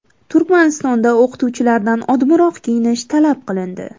Turkmanistonda o‘qituvchilardan odmiroq kiyinish talab qilindi.